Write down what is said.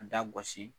A da gosi